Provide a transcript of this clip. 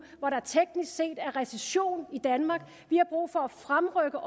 hvor der teknisk set er recession i danmark vi har brug for at fremrykke